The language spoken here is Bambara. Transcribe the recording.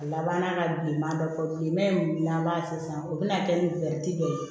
A laban na ka bilenman bɛɛ bɔ bilen n'an b'a se sisan o bɛna kɛ ni dɔ ye